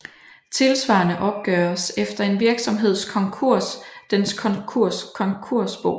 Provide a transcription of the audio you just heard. Tilsvarende opgøres efter en virksomheds konkurs dens konkursbo